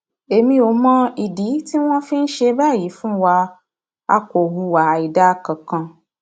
èmi ò sì mọ ìdí tí wọn fi ń ṣe báyìí fún wa a kò hùwà àìdáa kankan